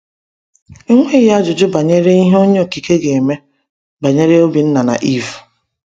Enweghị ajụjụ banyere ihe Onye Okike ga-eme banyere Obinna na Eve.